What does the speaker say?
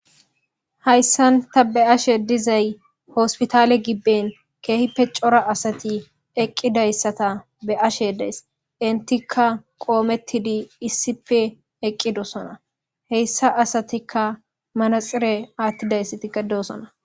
Hayisan ta be'ashe dizayis hospital gibe kehipe coora asati eqidaysata be'ashe dizayis etika qometidi issipe eqidosona he asatika manaxire athidaysatika do'sona